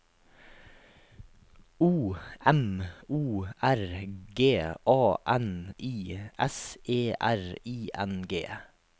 O M O R G A N I S E R I N G